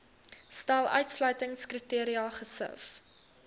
stel uitsluitingskriteria gesif